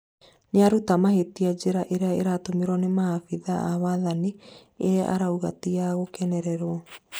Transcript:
nĩaruta mahĩtia njĩra ĩria ĩratũmĩrwo nĩ maabĩthaa a wathani ĩrĩa arauga ti ya gũkenererwo